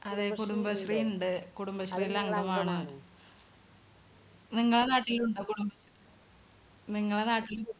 അതെ കുടുംബശ്രീ ഉണ്ട്. കുടുംബശ്രീയില് അംഗമാണ്. നിങ്ങടെ നാട്ടിലുണ്ടോ കുടുംബ നിങ്ങടെ നാട്ടില്